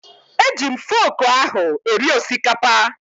E ji m foku ahụ eri osikapa